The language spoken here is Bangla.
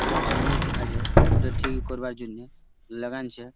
পুরা ড্যামেজ আছে ওইটা ঠিক করবার জন্যে লাগাইনছে ।